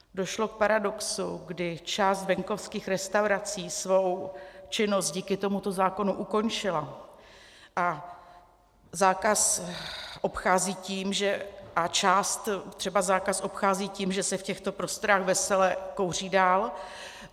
Došlo k paradoxu, kdy část venkovských restaurací svou činnost díky tomuto zákonu ukončila a část třeba zákaz obchází tím, že se v těchto prostorách vesele kouří dál.